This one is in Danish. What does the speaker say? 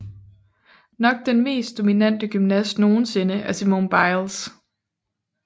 Nok den mest dominante gymnast nogensinde er Simone Biles